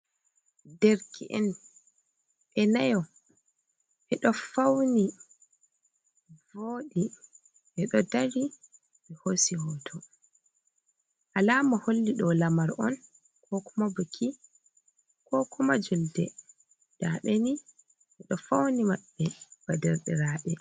Dereke'en ɓe nayo ɓe ɗo fawni voodi ɓe ɗo dari bé hoosi hooto alama holli ɗo'o alama on koo kuma biki koo kuma julde, ndaa ɓe nii ɓe do fawni maɓɓe bee derɗiraaɓe.